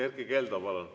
Erkki Keldo, palun!